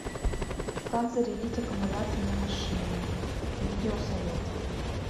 как зарядить аккумулятор на машине видеосоветы